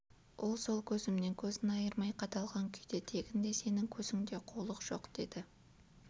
ол сол көзімнен көзін айырмай қадалған күйде тегінде сенің көзіңде қулық жоқ деді